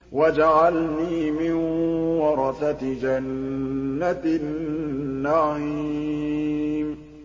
وَاجْعَلْنِي مِن وَرَثَةِ جَنَّةِ النَّعِيمِ